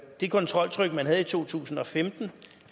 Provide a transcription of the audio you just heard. det kontroltryk man havde i to tusind og femten